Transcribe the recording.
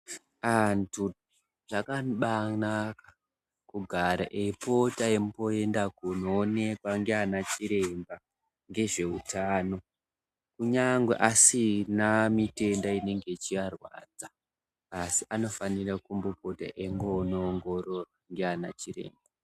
Antu zvakabanaka kudara eipota eimbo enda kunoonekwa ndiana chiremba ngezveutano. Kunyangwe asina mitenda inenge ichiarwadza. Asi anofanira eimbopota enomboongororwa ndiana chiremba.